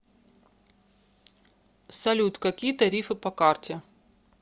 салют какие тарифы по карте